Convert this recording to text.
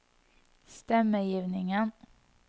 stemmegivningen